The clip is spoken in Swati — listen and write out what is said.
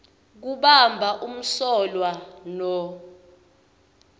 kubamba umsolwa no